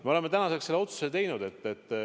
Me oleme tänaseks selle otsuse teinud.